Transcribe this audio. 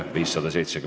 Head tööpäeva jätku!